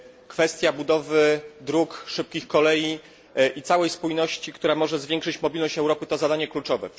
Kwestia budowy dróg, szybkich kolei i całej spójności, która może zwiększyć mobilność Europy, to zadanie kluczowe.